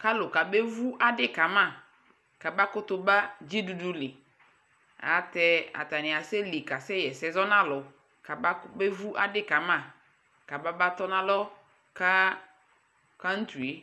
ka alʋ ka bɛ vʋ adi kama kaba kutu ba dzidudu li atɛ atani asɛ li ka sɛ yɛsɛ zɔnaalʋ kaba kabɛ vʋ adi kama kaba tɔnalɔ ka countriɛ